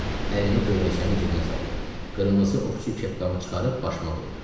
Əlini gödəkçəmin cibinə saldı, qırmızı ovçu kepkamı çıxarıb başıma qoydu.